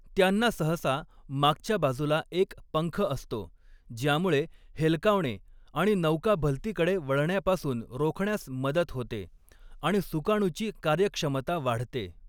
त्यांना सहसा मागच्या बाजूला एक पंख असतो, ज्यामुळे हेलकावणे आणि नौका भलतीकडे वळण्यापासून रोखण्यास मदत होते आणि सुकाणूची कार्यक्षमता वाढते.